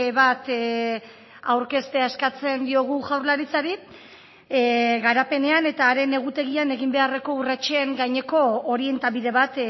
bat aurkeztea eskatzen diogu jaurlaritzari garapenean eta haren egutegian egin beharreko urratsen gaineko orientabide bat